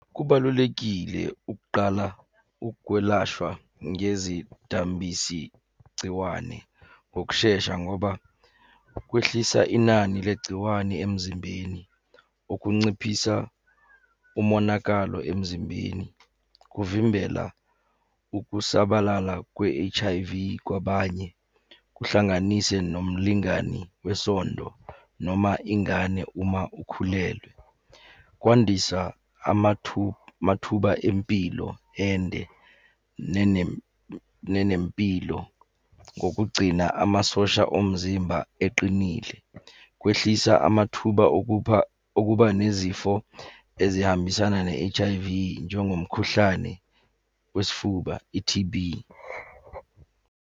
Kubalulekile ukuqala ukwelashwa ngezidambisi gciwane ngokushesha ngoba kwehlisa inani legciwane emzimbeni. Ukunciphisa umonakalo emzimbeni kuvimbela ukusabalala kwe-H_I_V, kwabanye, kuhlanganise nomlingani wesondo noma ingane uma ikhulelwe. Kwandisa amathuba empilo ende nenempilo ngokugcina amasosha omzimba eqinile. Kwehlisa amathuba okupha, okuba nezifo ezihambisana ne-H_I_V, njengomkhuhlane wesifuba i-T_B.